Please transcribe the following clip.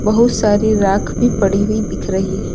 बहुत सारी राख भी पड़ी हुई दिख रही है।